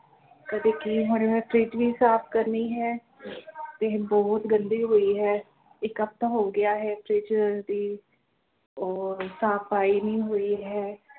ਕਦੇ ਕੀ ਹੁਣ ਮੈਂ ਫ਼ਰਿਜ਼ ਵੀ ਸਾਫ਼ ਕਰਨੀ ਹੈ ਫ਼ਰਿਜ਼ ਤੇ ਬਹੁਤ ਗੰਦੀ ਹੋਈ ਹੈ ਇਕ ਹਫਤਾ ਹੋ ਗਿਆ ਹੈ ਫ਼ਰਿਜ਼ ਦੀ ਉਹ ਸਫ਼ਾਈ ਨਹੀਂ ਹੋਈ ਹੈ।